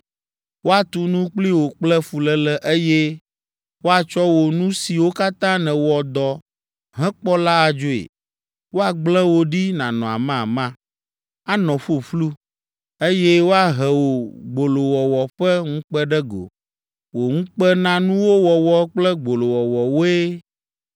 Woatu nu kpli wò kple fuléle, eye woatsɔ wò nu siwo katã nèwɔ dɔ hekpɔ la adzoe. Woagblẽ wò ɖi nànɔ amama, anɔ ƒuƒlu, eye woahe wò gbolowɔwɔ ƒe ŋukpe ɖe go. Wò ŋukpenanuwo wɔwɔ kple gbolowɔwɔ woe